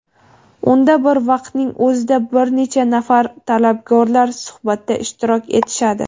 unda bir vaqtning o‘zida bir necha nafar talabgorlar suhbatda ishtirok etishadi.